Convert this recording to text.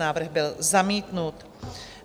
Návrh byl zamítnut.